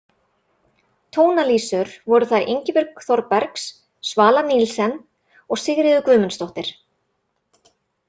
Tónalísur voru þær Ingibjörg Þorbergs, Svala Nielsen og Sigríður Guðmundsdóttir.